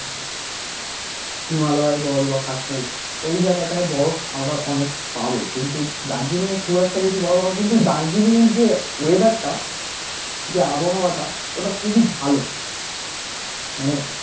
হিমালয় বল বা কাশ্মীর ওই জায়গাটায় বরফ আমরা অনেক পাবো কিন্তু দার্জিলিঙে খুব একটা বেশি বরফ আবার কিন্তু দার্জিলিঙের যে weather টা যে আবহাওয়া টা ওটা খুবই ভালো মানে